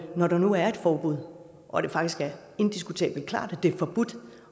når der nu er et forbud og det faktisk er indiskutabelt klart at det er forbudt